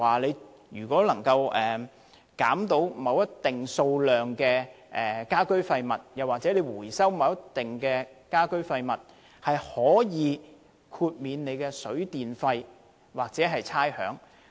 例如若能減少某個數量的家居廢物，又或回收某個數量的家居廢物，便可以豁免其水、電費或差餉。